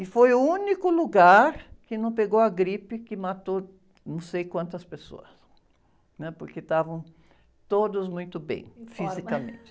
E foi o único lugar que não pegou a gripe que matou não sei quantas pessoas, né? Porque estavam todos muito bem fisicamente.